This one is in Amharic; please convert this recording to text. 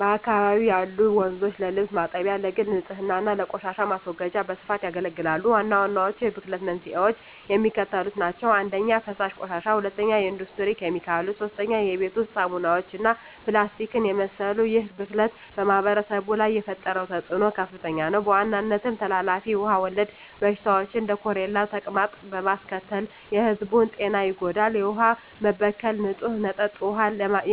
በአካባቢው ያሉ ወንዞች ለልብስ ማጠቢያ፣ ለግል ንፅህና እና ለቆሻሻ ማስወገጃ በስፋት ያገለግላሉ። ዋናዎቹ የብክለት መንስኤዎች የሚከተሉት ናቸው - 1) የፍሳሽ ቆሻሻ 2) የኢንዱስትሪ ኬሚካሎች 3) የቤት ውስጥ ሳሙናዎች እና ፕላስቲክን የመሰሉ ይህ ብክለት በማኅበረሰቡ ላይ የፈጠረው ተፅዕኖ ከፍተኛ ነው፤ በዋናነትም ተላላፊ ውሃ ወለድ በሽታዎችን (እንደ ኮሌራና ተቅማጥ) በማስከተል የሕዝቡን ጤና ይጎዳል። የውሃ መበከል ንፁህ መጠጥ ውሃ